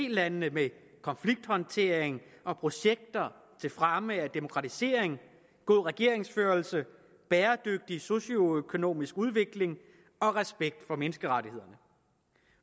landene med konflikthåndtering og projekter til fremme af demokratisering god regeringsførelse bæredygtig socioøkonomisk udvikling og respekt for menneskerettighederne